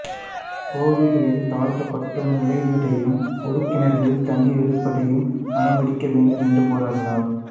கோவில்களில் தாழ்த்தப்பட்டோர் நுழைவதையும் பொதுக் கிணறுகளில் தண்ணீர் எடுப்பதையும் அனுமதிக்க வேண்டும் என்று போராடினார்